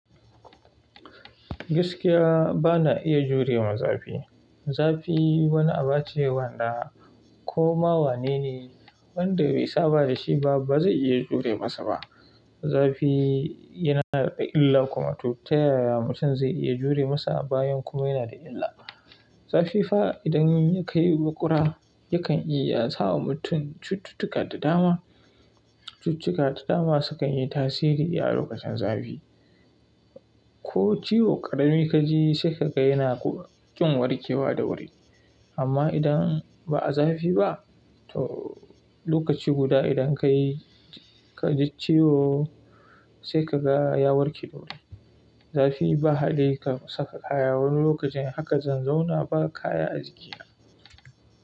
Gaskiya ba na iya jurewa zafi. Zafi wani aba ce wanda koma wane ne wanda bai saba da shi ba, ba zai iya jure masa ba. Zafi yana da illa kuma to ta yaya mutum zai iya jure masa bayan kuma yana da illa. Zafi fa idan ya kai makura yakan iya sa wa mutum cututtuka da dama. Cututtuka da dama sukan yi tasiri a lokacin zafi. Ko ciwo ƙarami ka ji sai ka ga yana kuma ƙin warke wa da wuri. Amma idan ba a zafi ba to lokaci guda idan ka ji ciwo sai ka ga ya warke da wuri. Zafi ba haɗari kam saka kaya wani lokacin haka zan zauna ba kaya a gikiya.